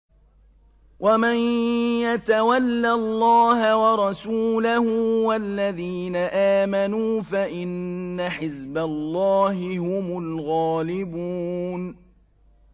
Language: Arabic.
وَمَن يَتَوَلَّ اللَّهَ وَرَسُولَهُ وَالَّذِينَ آمَنُوا فَإِنَّ حِزْبَ اللَّهِ هُمُ الْغَالِبُونَ